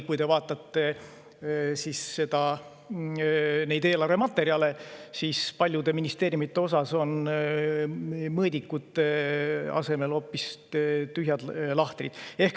Kui te vaatate neid eelarvematerjale, siis paljude ministeeriumide puhul on mõõdikute asemel hoopis tühjad lahtrid.